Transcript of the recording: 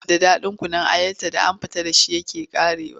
Saboda ɗaɗin kunun ayarta da an fita da shi ya ƙare.